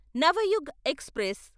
Navyug express